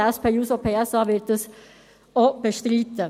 Die SP-JUSO-PSA wird diese Vorlage auch bestreiten.